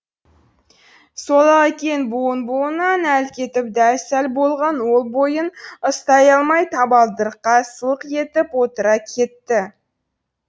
сол ақ екен буын буынынан әл кетіп дәл сал болған ол бойын ұстай алмай табалдырыққа сылқ етіп отыра кетті